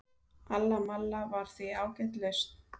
alla malla var því ágæt lausn